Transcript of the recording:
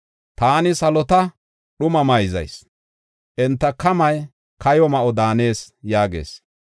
Taani salota dhuma mayzayis; enta kamay kayo ma7o daanees” yaagis.